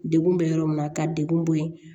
Degun bɛ yɔrɔ min na ka degun bɔ yen